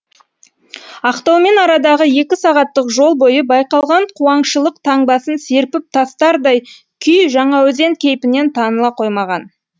ақтаумен арадағы екі сағаттық жол бойы байқалған қуаңшылық таңбасын серпіп тастардай күй жаңаөзен кейпінен таныла қоймаған